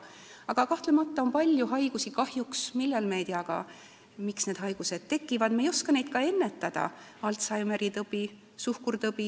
Aga kahtlemata on palju haigusi, kahjuks, mille põhjust me ei tea ja me ei oska neid ka ennetada: Alzheimeri tõbi, suhkurtõbi.